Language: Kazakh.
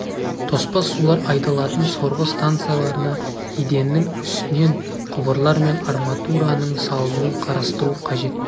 тоспа сулар айдалатын сорғы станцияларына еденнің үстінен құбырлар мен арматураның салынуын қарастыру қажет